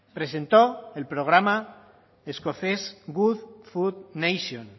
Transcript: presentó el programa escocés good food nation